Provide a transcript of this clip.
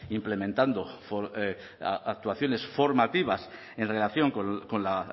implementando actuaciones formativas en relación con la